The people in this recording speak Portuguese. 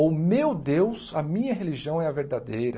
Ou, meu Deus, a minha religião é a verdadeira.